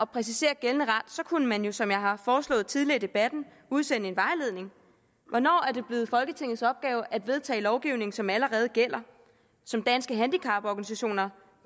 præcisere gældende ret kunne man jo som jeg har foreslået tidligere i debatten udsende en vejledning hvornår er det blevet folketingets opgave at vedtage lovgivning som allerede gælder som danske handicaporganisationer